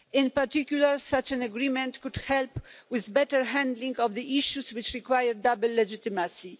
In particular, such an agreement could help with the better handling of the issues which require double legitimacy.